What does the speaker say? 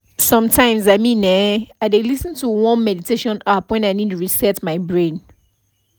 sometimes i mean[um]i dey lis ten to one meditation app wey i nid reset my brain